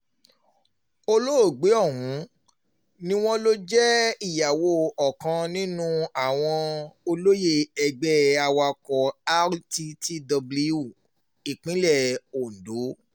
olóògbé ọ̀hún ni wọ́n lọ jẹ́ ìyàwó ọ̀kan nínú àwọn olóyè ẹgbẹ́ awakọ rttw ìpínlẹ̀ ondo